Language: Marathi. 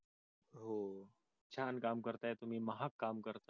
छान काम करताय तुम्ही महाग काम करताय.